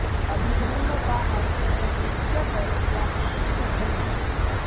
अभिधर्म का अर्थ है उच्चतर या विशिष्ट धर्म